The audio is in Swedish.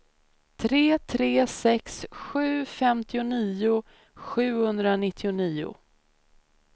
tre tre sex sju femtionio sjuhundranittionio